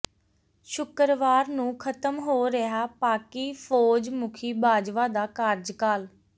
ਸ਼ੁੱਕਰਵਾਰ ਨੂੰ ਖ਼ਤਮ ਹੋ ਰਿਹੈ ਪਾਕਿ ਫ਼ੌਜ ਮੁਖੀ ਬਾਜਵਾ ਦਾ ਕਾਰਜਕਾਲ